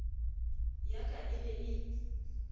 ya ka e ne e